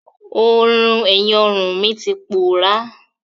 Oorùn ẹ̀yìn ọrùn mi ti pòọ́rá.